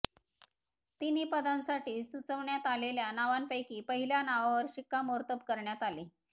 तिन्ही पदांसाठी सुचवण्यात आलेल्या नावांपैकी पहिल्या नावावर शिक्कामोर्तब करण्यात आले